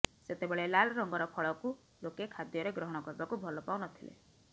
ସେତେବେଳେ ଲାଲ୍ ରଙ୍ଗର ଫଳକୁ ଲୋକେ ଖାଦ୍ୟରେ ଗ୍ରହଣ କରିବାକୁ ଭଲ ପାଉ ନ ଥିଲେ